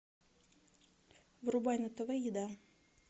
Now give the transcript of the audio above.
врубай на тв еда